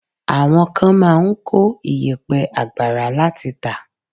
Àwọn kan máa ń kó ìyẹ̀pẹ̀ àgbàrá láti tà.